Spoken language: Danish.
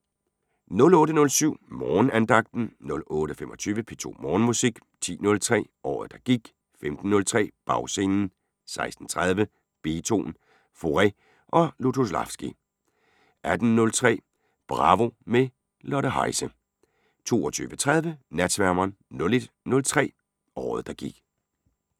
08:07: Morgenandagten 08:25: P2 Morgenmusik 10:03: Året der gik 15:03: Bagscenen 16:30: Beethoven, Fauré og Lutoslawski 18:03: Bravo – med Lotte Heise 22:30: Natsværmeren 01:03: Året der gik *